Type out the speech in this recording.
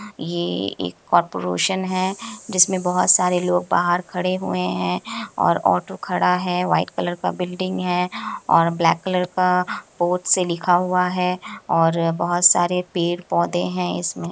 ये एक कारपोरेशन है जिसमे बहुत सारे लोग बाहर खड़े हुए हैं और ऑटो खड़ा है वाइट कलर का बिल्डिंग है ओर ब्लैक कलर का से लिखा हुआ है और बहुत सारे पेड़ पौधे है इसमें |